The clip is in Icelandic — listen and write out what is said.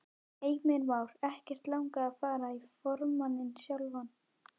Heimir Már: Ekkert langað að fara í formanninn sjálf?